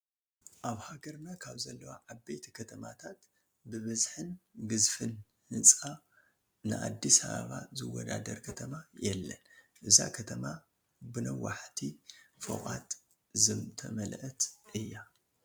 ኣብ ሃገርና ካብ ዘለዋ ዓበይቲ ከተማታት ብብዝሕን ግዝፈትን ህንፃ ንኣዲስ ኣባባ ዝወዳደር ከተማ የለን፡፡ እዛ ከተማ ብነዋሕቲ ፎቋት ዝተመልአት እያ፡፡